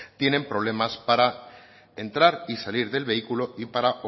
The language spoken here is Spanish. tienen problemas para entrar y salir del vehículo y para